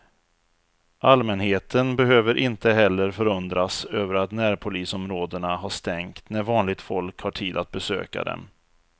Allmänheten behöver inte heller förundras över att närpolisområdena har stängt när vanligt folk har tid att besöka dem.